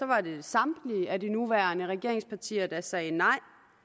var det samtlige af de nuværende regeringspartier der sagde nej